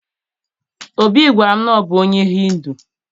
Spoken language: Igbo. Obi gwara m na ọ bụ onye Hindu